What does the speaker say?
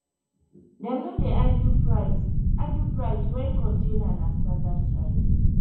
dem no dey argue price argue price when container na standard size